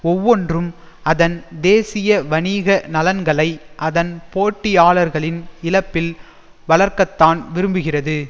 ஒவ்வொன்றும் அதன் தேசிய வணிக நலன்களை அதன் போட்டியாளர்களின் இழப்பில் வளர்க்கத்தான் விரும்புகிறது